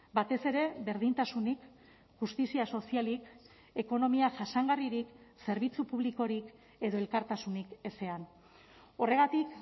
batez ere berdintasunik justizia sozialik ekonomia jasangarririk zerbitzu publikorik edo elkartasunik ezean horregatik